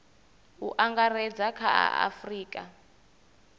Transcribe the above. u angaredza kha a afurika